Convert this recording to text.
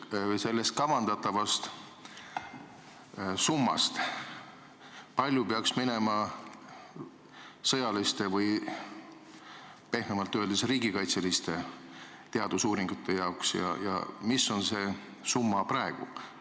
Kui palju sellest kavandatavast summast peaks minema sõjaliste või pehmemalt öeldes riigikaitseliste teadusuuringute jaoks ja mis on see summa praegu?